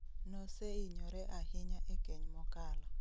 Noseinyore ahinya e keny mokalo